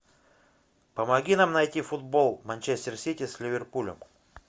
помоги нам найти футбол манчестер сити с ливерпулем